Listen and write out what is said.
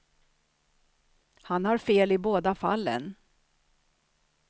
Han har fel i båda fallen.